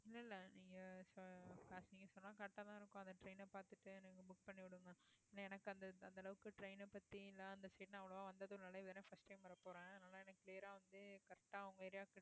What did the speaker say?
இல்லை இல்லை. நீங்க எனக்கு அந்த அளவுக்கு train அ பத்தி